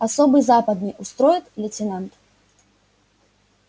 особый западный устроит лейтенант